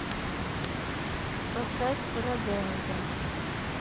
поставь фараденза